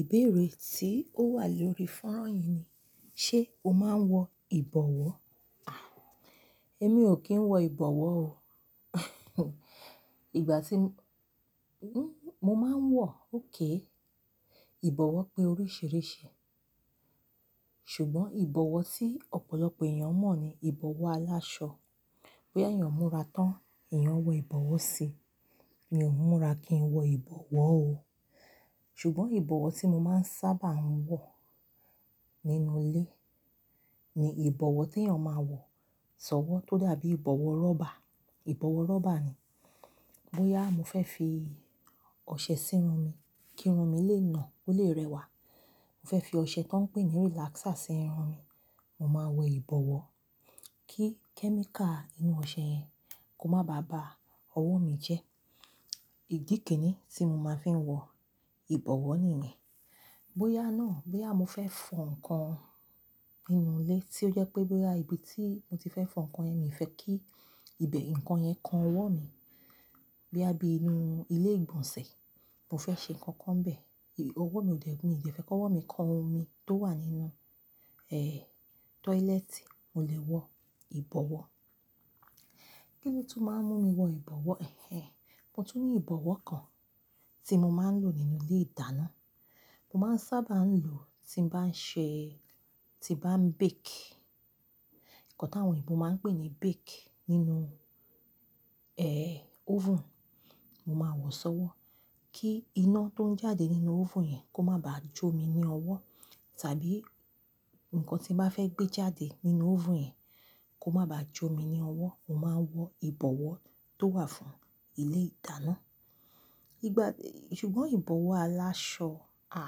Ìbéèrè tí ó wà lórí fọ́nrán yìí ni, ṣe o máa ń wọ ìbọ̀wọ́? À, ẹ́mi ò kí ń wọ ìbọ̀wọ́ o. Ìgbà tí-- n-mo máa ń wọ, óké. Ìbọ̀wọ́ pé oríṣìíríṣìí, ṣùgbọ́n ìbọ̀wọ́ tí ọ̀pọ̀lọpọ̀ èèyàn mọ̀ ni ìbọ̀wọ́ aláṣọ. Bí èèyàn múra tán, èèyàn wọ ìbọ̀wọ́ sí i. Mi ò múra kí n wọ ìbọ̀wọ́ o. Ṣùgbọ́n ìbọ̀wọ́ tí mo máa ń sábà wọ nínú ilé ni ìbọ̀wọ́ tí èèyàn máa ń wọ sọ́wọ́, tó dàbí ìbọ̀wọ́ rọ́bà. Ìbọ̀wọ́ rọ́bà ni. Bo yà mo fẹ́ fi ọṣẹ sírun mi kí irun mi lè nà, kó lè rẹwà. Mo fẹ́ fi ọṣẹ tó ń pè ní relaxer sí irun mi, mo máa wọ ìbọ̀wọ́ kí kẹ́míkà inú ọṣẹ yẹn kó má bá bàa ọwọ́ mi jẹ́. Ìdí kini tí mo máa ń fi wọ ìbọ̀wọ́ nìyẹn. Bí à náà, bí à mo fẹ́ fọ ǹkan nínú ilé tí ó jẹ́ pé bí à ibi tí mo ti fẹ́ fọ ǹkan ẹ́ mi fẹ́ kí ibẹ̀ ǹkan yẹn kan ọwọ́ mi, boyà bí inú ilé ìgbọ̀nsẹ̀, mo fẹ́ ṣe nǹkan kan bẹ̀, òwó mi ò dẹ́, mi ò ṣe fẹ́ kọ́wọ́ mi kan o mi tó wà nínú, tọ́ílẹ́ẹ̀tì, mo lè wọ ìbọ̀wọ́. Kíni tó máa ń mú mi wọ ìbọ̀wọ́? Ẹ̀hẹ̀n. Mo tún ní ìbọ̀wọ́ kan tí mo máa ń lò nínú ilé ìdáná. Mo máa ń sábà ń lò ó tí n bá ń ṣe-- tí bá ń bake. Ǹkan táwọn òyìnbó máa ń pè ní bake nínú, oven, mo máa wọ sọ́wọ́ kí iná tó ń jáde nínú oven yẹn kó má bá jó mi ní ọwọ́, tàbí ǹkan tí mo bá fẹ́ gbé jáde nínú oven yẹn kó má bá jó mi ní ọwọ́, mo máa wọ ìbọ̀wọ́ tó wà fún ilé ìdáná. Ìgbà-- ṣùgbọ́n ìbọ̀wọ́ aláṣọ, à,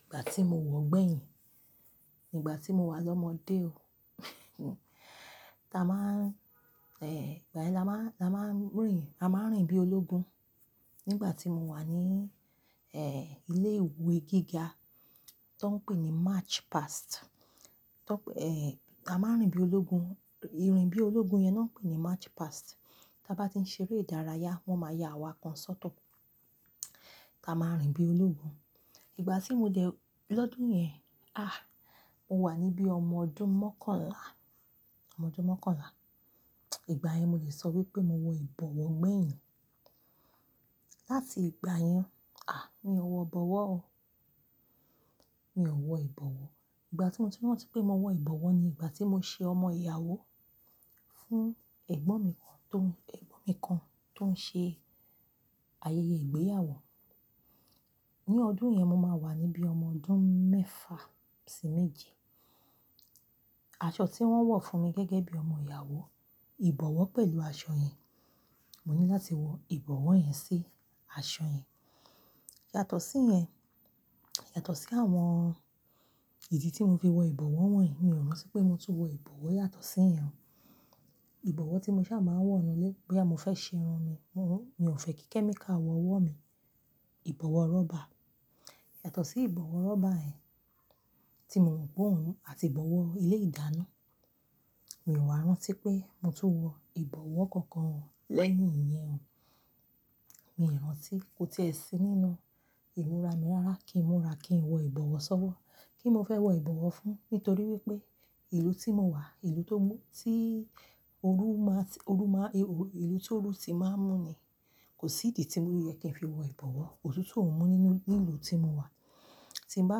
ìgbà tí mo wọ̀ ọ́ gbẹ̀yìn, ìgbà tí mo wà lọ́mọdé o, táa máa ń, ìgbà yẹn la máa ń, la máa ń rìn, a máa ń rìn bí ológun. Nígbà tí mo wà ní, ilé ìwé gíga, tó ń pè ní March Past, tó ń p-- táa máa ń rìn bí ológun. I rìn bí ológun yẹn náà ń pè ní March Past. Tábá ti ń ṣeré ìdárayá, wọ́n máa ya awa kan sóto, táa máa rìn bí ológun. Ìgbà tí mo dẹ̀ lọ́dún yẹn, à, mo wà níbí ọmọ ọdún mọ́kànlá. Ọmọ ọdún mọ́kànlá. Ìgbà yẹn mo lè sọ wípé mo wọ ìbọ̀wọ́ gbẹ̀yìn. Láti ìgbà yẹn, à, mi ò wọ ìbọ̀wọ́ o. Mi ò wọ ìbọ̀wọ́. Ìgbà tí mo ti rántí pé mo wọ ìbọ̀wọ́ ni ìgbà tí mo ṣe ọmọ ìyàwó fún ẹ̀gbọ́n mi kan tó ń, ẹ̀gbọ́n mi kan tó ń ṣe ayẹyẹ ìgbéyàwó. Ní ọdún yẹn, mo máa wà níbí ọmọ ọdún mẹ́fa sí méje. Aṣọ tí wọ́n wọ̀ fún mi gẹ́gẹ́ bí ọmọ ìyàwó, ìbọ̀wọ́ pẹ̀lú aṣọ yẹn. Mo ní láti wọ ìbọ̀wọ́ yẹn sí aṣọ yẹn. Yàtọ̀ sí yẹn, yàtọ̀ sí àwọn ìdí tí mo fi wọ ìbọ̀wọ́ wọ̀nyí, mi ò rántí pé mo tún wọ ìbọ̀wọ́ yàtọ̀ sí ìyen. Ìbọ̀wọ́ tí mo ṣá máa ń wọ nínú ilé bí à mo fẹ́ ṣe irun mi, mo, mi ò fẹ́ kí kẹ́míkà wọ ọwọ́ mi. Ìbọ̀wọ́ rọ́bà. Yàtọ̀ sí ìbọ̀wọ́ rọ́bà ẹ́, tí mo mọ̀ bóòún àti ìbọ̀wọ́ ilé ìdáná, mi ò wa rántí pé mo tún wọ ìbọ̀wọ́ kankan lẹ́yìn ìyẹn o. Mi ò rántí. Kò tí è sí nínú ìmú ra mi rárá kí n múra kí n wọ ìbọ̀wọ́ sọ́wọ́. Kí n mo fẹ́ wọ ìbọ̀wọ́ fún? Nítorí wípé ìlú tí mo wà, ìlú tó mú, tí óru má ti-- óru má, ìlú tí óru ti má ń mú ni, kò sí ìdí tí mi o yẹ kí n fi wọ ìbọ̀wọ́. Òtutun mú nínú, ní ìlú tí mo wà tí ń bá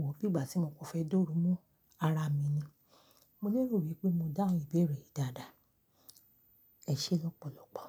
wọ̀ bí ìgbà tí mo kò fẹ́ dá óru mú ara mi ni. Mo lérò wípé mo dáhùn ìbéèrè yìí dáadáa. Ẹ ṣé lọ́pọ̀lọpọ̀.